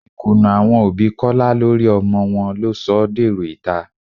Ìkùnnà àwọn òbí Kọ́lá lórí ọmọ wọn ló sọ ọ́ dèrò ìta